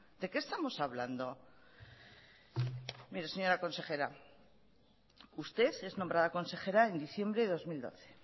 de qué estamos hablando mire señora consejera usted es nombrada consejera en diciembre de dos mil doce